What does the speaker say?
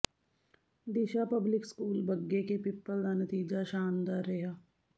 ਦਿਸ਼ਾ public school Bagge Ke Pippal ਦਾ ਨਤੀਜਾ ਸ਼ਾਨਦਾਰ ਰਿਹਾ